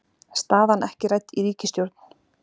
Staðan ekki rædd í ríkisstjórn